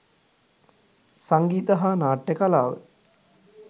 සංගීත හා නාට්‍ය කලාව